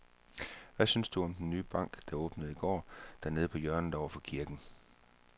Hvad synes du om den nye bank, der åbnede i går dernede på hjørnet over for kirken?